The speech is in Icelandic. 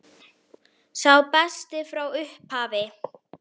Sá besti frá upphafi?